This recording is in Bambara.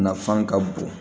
Nafan ka bon